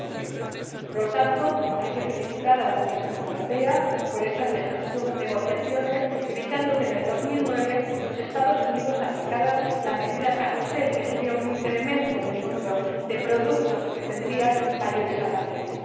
90 Por lo tanto, hay que felicitar a la Comisión Europea por estas negociaciones, evitando que en 2009 los Estados Unidos aplicaran la medida carrusel, que habría supuesto un incremento del número de productos a los que se habrían aplicado mayores aranceles.